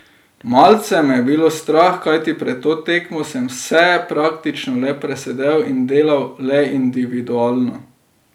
Malce me je bilo strah, kajti pred to tekmo sem vse praktično le presedel in delal le individualno.